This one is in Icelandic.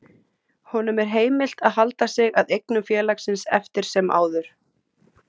Honum er heimilt að halda sig að eignum félagsins eftir sem áður.